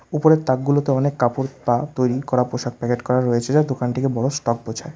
উপরের তাকগুলোতে অনেক কাপড় বা তৈরি করা পোশাক প্যাকেট করা রয়েছে যা দোকানটিকে বড় স্টক বোঝায়।